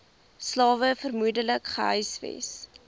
slawe vermoedelik gehuisves